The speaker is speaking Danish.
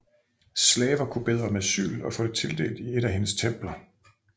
Slaver kunne bede om asyl og få det tildelt i et af hendes templer